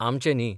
आमचें नही.